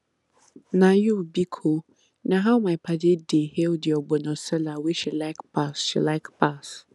na you biko na how my padi dey hail the ogbono seller wey she like pass she like pass